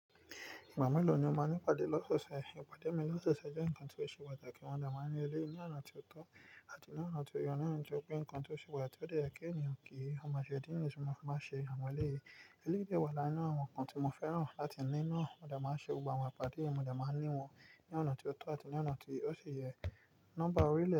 Ìgbà mélòó ni o máa ní ìpàdé lọ́sọ̀ọ̀sẹ̀? Ìpàdé mi lọ́sọ̀ọ̀sẹ̀ jẹ́ nǹkan tó ṣe patakí wọ́n de maa n ní eléyi ní ọ̀nà tió tọ́ àti ní ọ̀nà tó ye. Ní nǹjẹ́ pé nǹkan tó ṣubú àti ó yẹ kí ènìyàn kí í, ọmọ Jèdí ni ṣùgbọ́n mo máa ń ṣe àwọn ọ̀rẹ́ mi. Eléyìí dẹ́ wá lára àwọn nǹkan tí mo fẹ́ràn láti ní ná, mo de maa n ṣe ìpade yen, mo de maa n níwọ̀n ní ọ̀nà tó tọ́ àti ní ọ̀nà ti ó sì yẹ. Nọ́mbà orílẹ̀